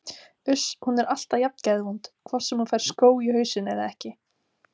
Uss, hún er alltaf jafn geðvond hvort sem hún fær skó í hausinn eða ekki